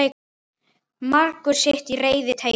Margur sitt í reiði reytir.